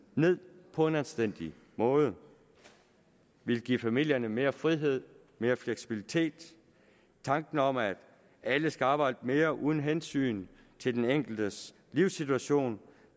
ned på en anstændig måde vi vil give familierne mere frihed mere fleksibilitet tanken om at alle skal arbejde mere uden hensyn til den enkeltes livssituation